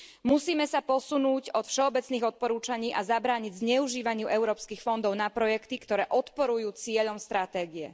Musíme sa posunúť od všeobecných odporúčaní a zabrániť zneužívaniu európskych fondov na projekty, ktoré odporujú cieľom stratégie.